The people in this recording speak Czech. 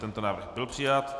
Tento návrh byl přijat.